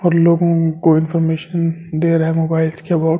और लोगों को इनफार्मेशन दे रहा है मोबाइल के अबाउट एक ।